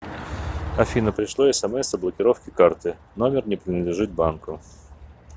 афина пришло смс о блокировке карты номер не принадлежит банку